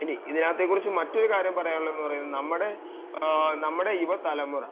ഇനി ഇതിനകത്തെ കുറിച്ച് മറ്റൊരു കാര്യം പറയാനുള്ളത് നമ്മുടെ യുവതലമുറ